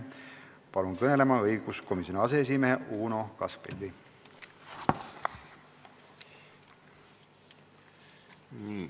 Palun kõnelema õiguskomisjoni aseesimehe Uno Kaskpeiti!